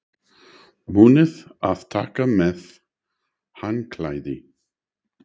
Munið að taka með handklæði!